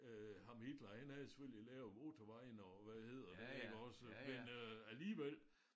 Øh ham Hitler han havde selvfølgelig lavet motorvejen og hvad hedder den iggås men øh alligevel